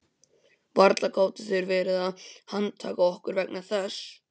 Varla gátu þeir verið að handtaka okkur vegna þess.